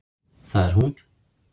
Það er hún!